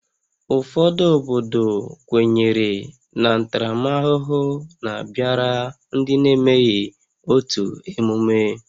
Ụfọdụ obodo kwenyere na ntaramahụhụ na-abịara ndị na-emeghị otu emume